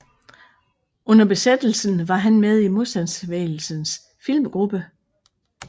Under besættelsen var han med i Modstandsbevægelsens Filmgruppe